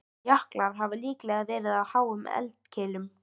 Jöklarnir hafa líklega verið á háum eldkeilum.